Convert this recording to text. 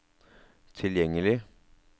tilgjengelig